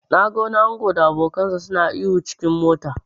Na ga wani ango da abokansa suna ihu s cikin mota.